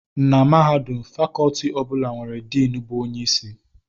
Na mahadum, Fakọọti ọ bụla nwere Din bụ onye isi